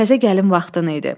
Təzə gəlin vaxtın idi.